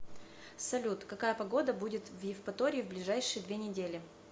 салют какая погода будет в евпатории в ближайшие две недели